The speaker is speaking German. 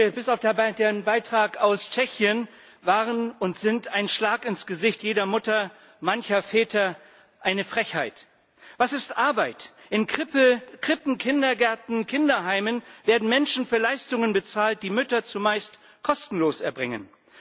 Alle Beiträge bis auf den Beitrag aus Tschechien waren und sind ein Schlag ins Gesicht jeder Mutter, mancher Väter eine Frechheit! Was ist Arbeit? In Krippen, Kindergärten, Kinderheimen werden Menschen für Leistungen bezahlt, die Mütter zumeist kostenlos erbringen.